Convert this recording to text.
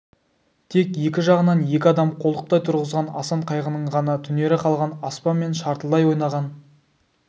тек екі жағынан екі адам қолтықтай тұрғызған асан қайғының ғана түнере қалған аспан мен шартылдай ойнаған